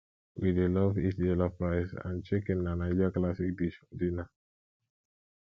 we dey love eat jollof rice and chicken na naija classic dish for dinner